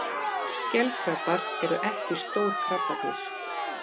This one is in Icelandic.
Skelkrabbar eru ekki stór krabbadýr.